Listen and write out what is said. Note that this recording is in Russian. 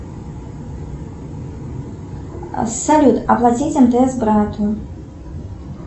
салют оплатить мтс брату